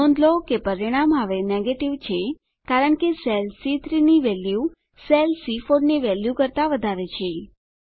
નોંધ લો કે પરિણામ હવે નેગેટિવ છે કારણ કે સેલ સી3 ની વેલ્યુ સેલ સી4 ની વેલ્યુ કરતા વધારે છે